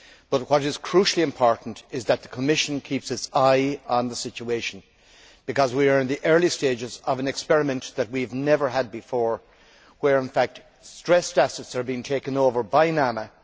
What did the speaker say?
But what is crucially important is that the Commission keeps its eye on the situation, because we are in the early stages of an experiment that we have never had before, in which stressed assets are being taken over by NAMA.